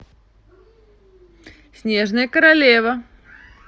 снежная королева